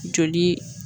Joli